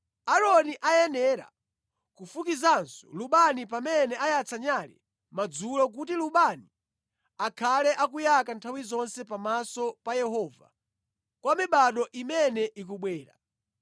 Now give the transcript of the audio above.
Aaroni ayenera kufukizanso lubani pamene ayatsa nyale madzulo kuti lubani akhale akuyaka nthawi zonse pamaso pa Yehova kwa mibado imene ikubwera.